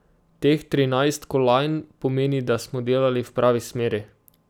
Teh trinajst kolajn pomeni, da smo delali v pravi smeri.